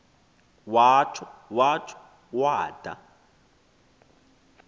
watsho watsho wada